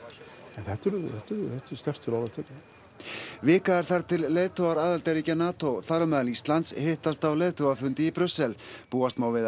en þetta er sterkt til orða tekið vika er þar til leiðtogar aðildarríkja NATO þar á meðal Íslands hittast á leiðtogafundi í Brussel búast má við að